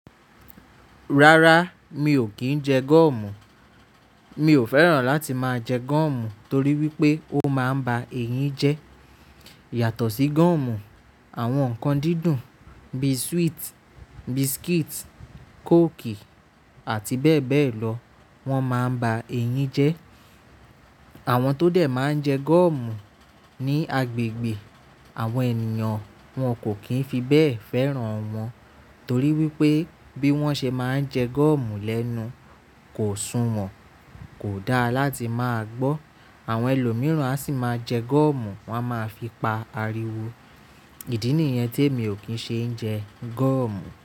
Rárá, mi ò kí ń jẹ gọ̀mù. Mi ò fẹ́ràn láti máa jẹ gọ̀mù torí wípé ó máa ń ba eyín jẹ́. Yàtọ̀ sí gọ̀mù, àwọn nǹkan dídùn bí sweet, biscuit, coke àti bẹ́ẹ̀ bẹ́ẹ̀ lọ wọ́n máa ń ba eyín jẹ́. Àwọn tó dẹ̀ máa ń jẹ gọ̀mù ní agbègbè àwọn ènìyàn, wọn kò kí ń fi bẹ́ẹ̀ fẹ́ràn wọn torí wípé bí wọ́n ṣe máa ń jẹ gọ̀mù lẹ́nu kò sunwọ̀n, kò dáa láti máa gbọ́. Àwọn ẹlòmíràn a sì máa jẹ gúọ̀mù, wọ́n a máa fi pa ariwo. Ìdí nìyẹn témi ò kí ń ṣe ń jẹ gọ̀mù.